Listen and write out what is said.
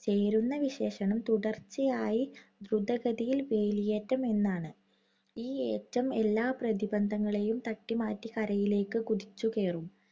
ചേരുന്ന വിശേഷണം തുടർച്ചയായി ദ്രുതഗതിയിൽ വേലിയേറ്റം എന്നാണ്. ഈ ഏറ്റം എല്ലാ പ്രതിബന്ധങ്ങളേയും തട്ടിമാറ്റി കരയിലേയ്ക്കു കുതിച്ചു കേറും.